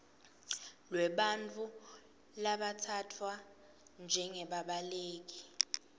lwebantfu labatsatfwa njengebabaleki